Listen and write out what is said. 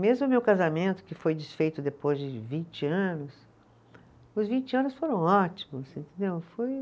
Mesmo o meu casamento, que foi desfeito depois de vinte anos, os vinte anos foram ótimos, entendeu, foi